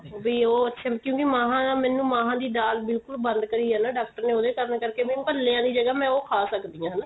ਵੀ ਉਹ ਅੱਛੇ ਕਿਉਂਕਿ ਮਹਾਂ ਨਾ ਮੈਨੂੰ ਮਹਾਂ ਦੀ ਦਾਲ ਬਿਲਕੁਲ ਬੰਦ ਕਰੀ ਏ ਨਾ ਡਾਕਟਰ ਨੇ ਉਹਦੇ ਕਾਰਨ ਕਰਕੇ ਭਲਿਆ ਦੀ ਜਗ੍ਹਾ ਮੈਂ ਉਹ ਖਾ ਸਕਦੀ ਆ ਹਨਾ